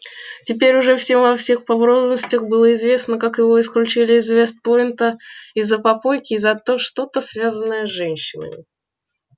теперь уже всем во всех подробностях было известно как его исключили из вест-пойнта из-за попойки и за то что-то связанное с женщинами